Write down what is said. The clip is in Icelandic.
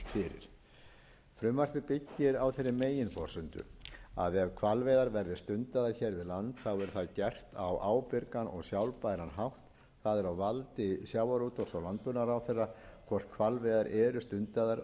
frumvarpið byggir á þeirri meginforsendu að ef hvalveiðar verði stundaðar hér við land verði það gert á ábyrgan og sjálfbæran hátt það er á valdi sjávarútvegs og landbúnaðarráðherra hvort hvalveiðar eru stundaðar